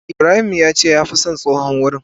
Ibrahim yace ya fi son tsohon wurin.